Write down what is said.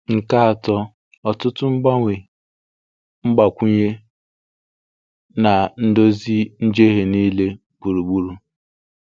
Nke atọ – ọtụtụ mgbanwe, mgbakwunye, na ndozi njehie niile gburugburu.